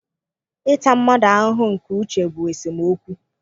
Ịta mmadụ ahụhụ nke uche bụ esemokwu.